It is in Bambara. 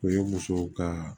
O ye musow ka